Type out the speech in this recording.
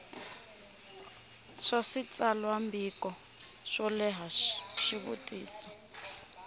swa switsalwambiko swo leha xivutiso